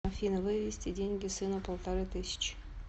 афина вывести деньги сыну полторы тысячи